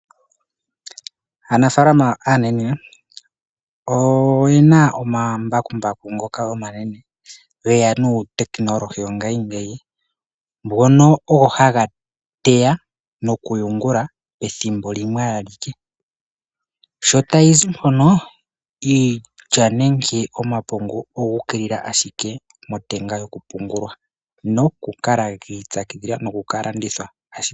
Aanafalama aanaene oyena omambakumbaku ngoka omanene geya notekenolohi